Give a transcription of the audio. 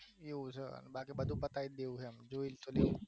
એવું છે બાકી બધું પતાયી દેવું છે